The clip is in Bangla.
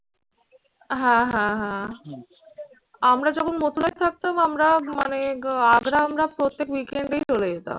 হ্যাঁ, হ্যাঁ, হ্যাঁ আমরা যখন মথুরায় থাকতাম আমরা মানে আগ্রা আমরা প্রত্যেক weekend এই চলে যেতাম।